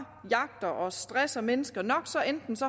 jagter og stresser mennesker nok